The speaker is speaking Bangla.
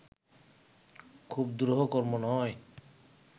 খুব দুরূহ কর্ম নয়